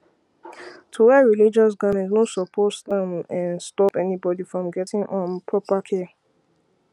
to wear religious garments no suppose [um][um]stop anybody from gettin um proper care